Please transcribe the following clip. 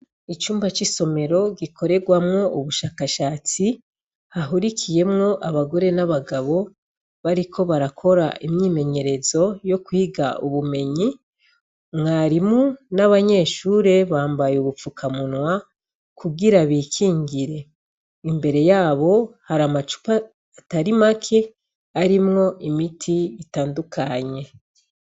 Icumba c'isomero gikorerwamwo ubushakashatsi hahurikiyemwo abagore n'abagabo bariko barakora imyimenyerezo yo kwiga ubumenyi mwarimu n'abanyeshure bambaye ubupfukamunwa kugira bikingire imbere yabo hari amacuwa atari make arimwo imiti itandukanye.